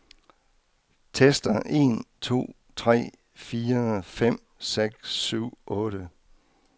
Tester en to tre fire fem seks syv otte.